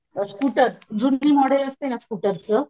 अ scooter जुनं model असतात ना स्कुटरच